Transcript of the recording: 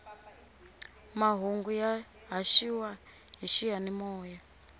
mahungu ya haxiwa hi xiyanimoya